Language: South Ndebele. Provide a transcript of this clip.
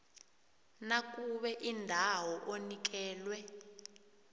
nakube indawo onikelwe